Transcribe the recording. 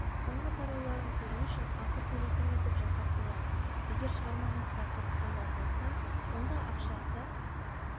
соңғы тарауларын көру үшін ақы төлейтін етіп жасап қояды егер шығармаңызға қызыққандар болса онда ақшасы